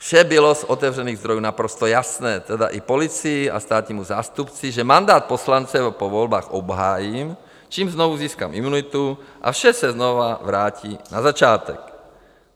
Vše bylo z otevřených zdrojů naprosto jasné, tedy i policii a státnímu zástupci, že mandát poslance po volbách obhájím, čímž znovu získám imunitu a vše se znovu vrátí na začátek.